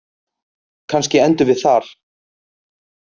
Kannski endum við þar